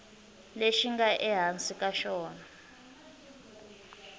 lexi nga ehansi ka xona